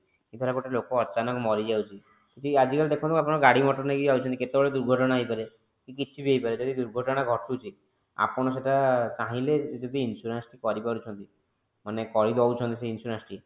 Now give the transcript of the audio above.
ଆଜି ଧର ଗୋଟେ ଲୋକ ଅଚାନକ ମରିଯାଉଛି ଆଜି କାଲି ଦେଖନ୍ତୁ ଆପଣ ଗାଡି ମଟର ନେଇକି ଯାଉଛନ୍ତି କେତେବେଳେ ଦୁର୍ଘଟଣା ହେଇପାରେ କିଛି ବି ହେଇପାରେ ଯଦି ଦୁର୍ଘଟଣା ଘଟୁଛି ଆପଣ ସେଟା ଚାହିଁଲେ ଯଦି insurance ଟି କରିପାରୁଛନ୍ତି ମାନେ କରିଦୋଉଛନ୍ତି ସେ insurance ଟି